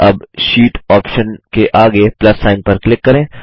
अब sheet option के आगे प्लस सिग्न पर क्लिक करें